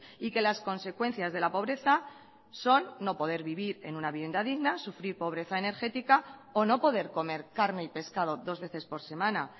y que las consecuencias de la pobreza son no poder vivir en una vivienda digna sufrir pobreza energética o no poder comer carne y pescado dos veces por semana